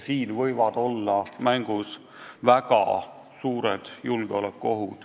Siin võivad mängus olla väga suured julgeolekuohud.